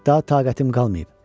Daha taqətim qalmayıb.